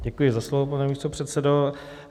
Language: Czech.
Děkuji za slovo, pane místopředsedo.